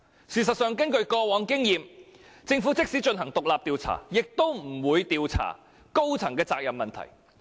事實上，根據過往經驗，政府即使進行獨立調查，也不會調查高層的責任問題。